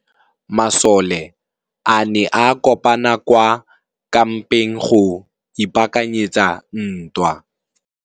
Masole a ne a kopane kwa kampeng go ipaakanyetsa ntwa.